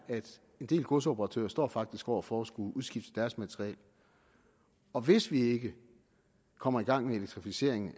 en del godsoperatører står faktisk over for at skulle udskifte deres materiel og hvis vi ikke kommer i gang med elektrificeringen